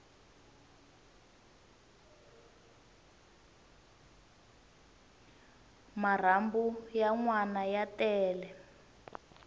marhambu ya nwana ya tele